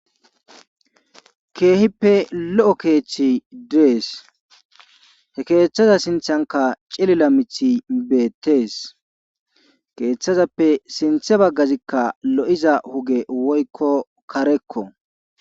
Keehippe lo'o keeththi dees. He keeththaza sinththankka cilila miththi beetees. keeththazappe sinthe bagazi lo'iza oge woykko karekko.